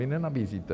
Vy nenabízíte.